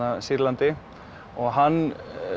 Sýrlandi og hann